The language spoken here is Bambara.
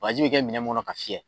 Bagji bɛ kɛ minɛ mun kɔnɔ k'a fiyɛ.